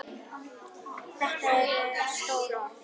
Þetta eru stór orð.